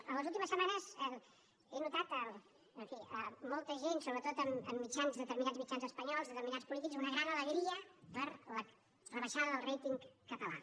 a les últimes setmanes he notat en fi en molta gent sobretot en mitjans determinats mitjans espanyols determinats polítics una gran alegria per la rebaixada del rating català